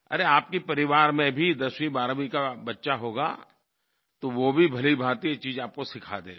अरे आपके परिवार में भी 10वीं12वीं का बच्चा होगा तो वो भी भलीभाँति चीज़ आपको सिखा देगा